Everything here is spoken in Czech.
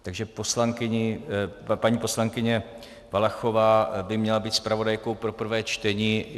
Takže paní poslankyně Valachová by měla být zpravodajkou pro prvé čtení.